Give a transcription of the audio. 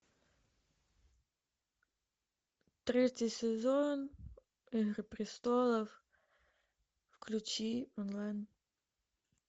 третий сезон игры престолов включи онлайн